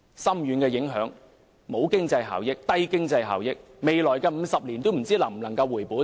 高鐵影響深遠，經濟效益低，未來50年也不知能否回本。